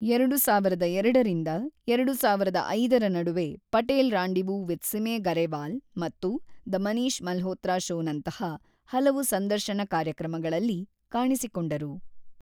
ಎರಡು ಸಾವಿರದ ಎರಡರಿಂದ ಎರಡು ಸಾವಿರದ ಐದರ ನಡುವೆ ಪಟೇಲ್ ರಾಂಡಿವು ವಿಥ್‌ ಸಿಮಿ ಗರೇವಾಲ್‌ ಮತ್ತು ದ ಮನೀಷ್‌ ಮಲ್ಹೋತ್ರಾ ಶೋನಂತಹ ಕೆಲವು ಸಂದರ್ಶನ ಕಾರ್ಯಕ್ರಮಗಳಲ್ಲಿ ಕಾಣಿಸಿಕೊಂಡರು.